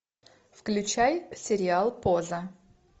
включай сериал поза